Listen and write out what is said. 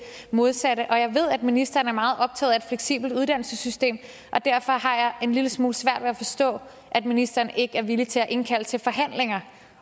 modsatte jeg ved at ministeren er meget optaget af et fleksibelt uddannelsessystem og derfor har jeg en lille smule svært ved at forstå at ministeren ikke er villig til at indkalde til forhandlinger